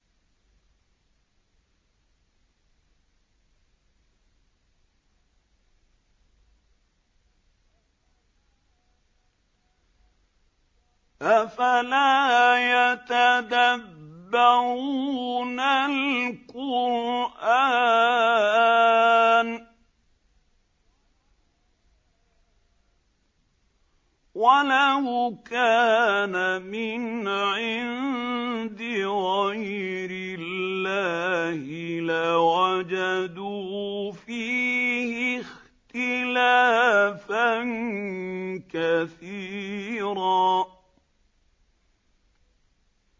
أَفَلَا يَتَدَبَّرُونَ الْقُرْآنَ ۚ وَلَوْ كَانَ مِنْ عِندِ غَيْرِ اللَّهِ لَوَجَدُوا فِيهِ اخْتِلَافًا كَثِيرًا